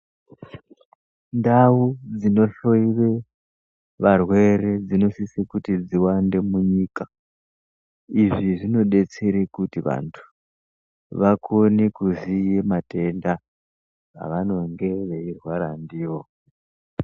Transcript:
Ndau dzinohloiwe varwere dzinosise kuti dziwande munyika. Izvi zvinodetsere kuti vantu, vakone kuziye matenda, avanonge veirwara ndiwo.